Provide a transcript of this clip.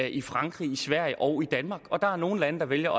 i frankrig i sverige og i danmark der er nogle lande der vælger